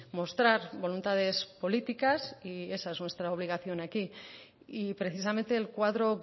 mostrar voluntades políticas y esa es nuestra obligación aquí y precisamente el cuadro